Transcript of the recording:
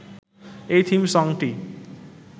এই থিম সংটি